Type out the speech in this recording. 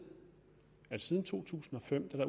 at der siden to tusind og fem